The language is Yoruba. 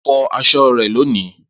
Fọ aṣọ rẹ loni!